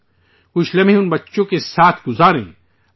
اور کچھ لمحہ ان بچوں کے ساتھ گزارئیے